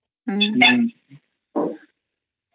ଅମ୍